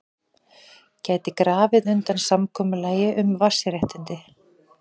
Gæti grafið undan samkomulagi um vatnsréttindi